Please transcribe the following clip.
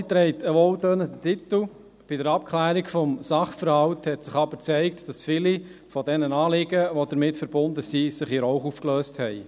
Bei der Abklärung des Sachverhalts hat sich aber gezeigt, dass viele der damit verbundenen Anliegen, sich in Rauch aufgelöst haben.